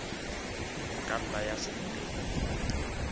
ka nna ya se nne